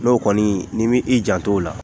N'o kɔni ni mi i janto o la